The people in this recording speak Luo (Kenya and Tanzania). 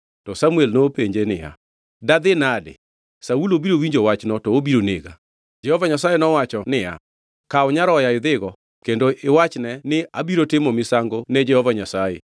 To Samuel nopenje niya, “Dadhi nade? Saulo biro winjo wachno to obiro nega.” Jehova Nyasaye nowacho niya, “Kaw nyaroya idhigo kendo iwachne ni abiro timo misango ne Jehova Nyasaye.